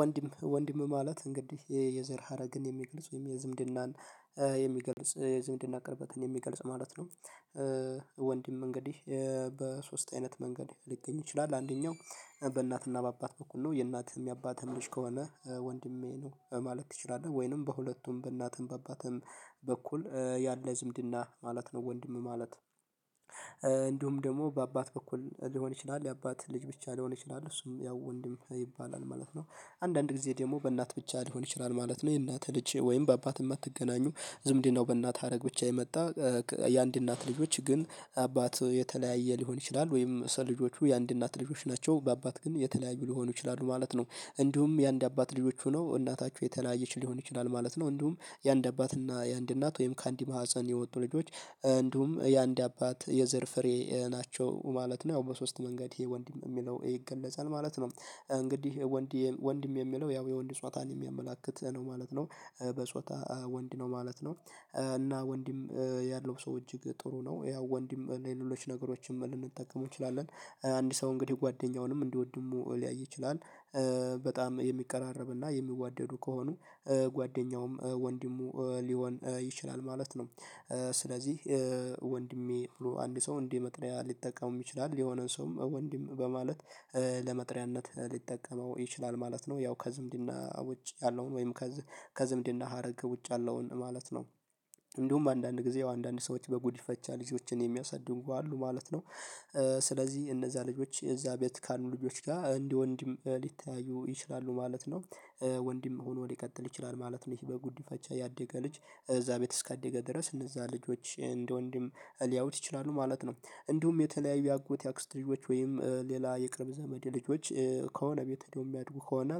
ወንድም ወንድም ማለት እንግዲህ የዘር ሀረግን የሚግልጽ ወይም የዝምድናን የሚገልጽ የዝምድና ቅርበትን የሚገልጽ ማለት ነው። ወንድም እንግዲህ በሶስት አይነት መንገድ ሊገኝ ይችላል። አንደኛው በእናትና በአባት በኩል ነው። የእናትህም የአባትህም ልጅ ከሆነ ወንድሜ ነው ማለት ትችላለህ። ወይንም በሁለቱም በእናትም በአባትም በኩል ያለ ዝምድና ማለት ነው። ወንድም ማለት። እንዲሁም ደግሞ በአባት በኩል ሊሆን ይችላል የአባት ልጅ ብቻ ሊሆን ይችላል እሱም ያው ወንድም ይባላል ማለት ነው። አንዳንድ ጊዜ ደግሞ በእናት ብቻ ሊሆን ይችላል ማለት ነው። የእናት ልጄ ወይም በአባትም አትገናኙ ዝምድናው በእናት ሀረግ ብቻ የመጣ። የአንድ እናት ልጆች ግን አባት የተለያየ ሊሆን ይችላል ወይም ስለ ልጆቹ የአንድ እናት ልጆች ናቸው በአባት ግን የተለያዩ ሊሆኑ ይችላሉ ማለት ነው። እንዲሁም የአንድ አባት ልጆች ሆነው እናታችሁ የተለያየች ሊሆን ይችላል ማለት ነው። እንዲሁም የአንድ አባት እና የአንድ እናት ወይም ከአንድ ማህፀን የወጡ ልጆች እንዲሁም የአንድ አባት የዘር ፍሬ ናቸው ማለት ነው። ያው በሶስት መንገድ ይሄ ወንድም የሚለው ይገለጻል ማለት ነው። እንግዲህ ወንድ ወንድም የሚለው ያው የወንድ ፆታን የሚያመላክት ነው ማለት ነው። በፆታ ወንድ ነው ማለት ነው። እና ወንድም ያለው ሰው እጅግ ጥሩ ነው ያው ወንድም ለሌሎች ነገሮችን ልንጠቀመው እንችላለን። አንድ ሰው እንግዲህ ጓደኛውንም እንደወንድሙ ሊያይ ይችላል። በጣም የሚቀራረብና የሚዋደዱ ከሆኑ ጓደኛውም ወንድሙ ሊሆን ይችላል ማለት ነው። ስለዚህ ወንድሜ ብሎ አንድ ሰው እንደ መቅደያ ሊጠቀመው ይችላል የሆነን ሰውም ወንድም በማለት ለመጥሪያነት ሊጠቀመው ይችላል ማለት ነው። ያው ከዝምድና ውጭ ያለውን ወይም ከዝምድና ሀረግ ውጭ ያለውን ማለት ነው። እንዲሁም አንዳንድ ጊዜ ያው አንዳንድ ሰዎች በጉዲፈቻ ልጆችን የሚያሳድጉ አሉ ማለት ነው። ስለዚህ እነዛ ልጆች እዛ ቤት ካሉ ልጆች ጋር እንደ ወንድም ሊተያዩ ይችላሉ ማለት ነው። ወንድም ሆኖ ሊቀጥል ይችላል ማለት ነው። ይሄ በጉዲ ፈቻ ያደገ ልጅ እዛ ቤት እስካደገ ድረስ እነዛ ልጆች እንደ ወንድም ሊያውት ይችላሉ ማለት ነው። እንዲሁም የተለያዩ የአጎት የአክስት ልጆች ወይም ሌላ የቅርብ ዘመዴ ልጆች ከሆነ ቤት ሄደው የሚያድጉ ከሆነ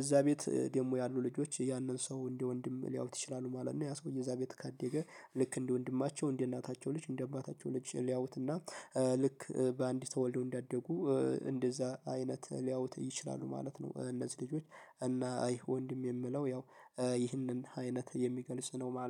እዛ ቤት ደግሞ ያሉ ልጆች ያንን ሰው እንደ ወንድም ሊያውት ይችላሉ ማለት ነው። ያ ሰውዬ እዛ ቤት ካደገ ልክ እንደ ወንድማቸው እንደ እናታቸው ልጅ እንደ አባታቸው ልጅ ሊያውትና ልክ በአንድ ተወልደው እንዳደጉ እንደዛ አይነት ሊያውት ይችላሉ ማለት ነው። እነዚህ ልጆች እና አይ ወንድም የምለው ያው ይህንን አይነት የሚገልጽ ነው ማለ